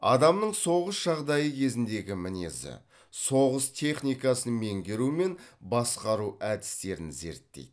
адамның соғыс жағдайы кезіндегі мінезі соғыс техникасын меңгеру мен басқару әдістерін зерттейді